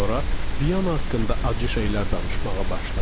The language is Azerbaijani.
Sonra Viyana haqqında acı şeylər danışmağa başladı.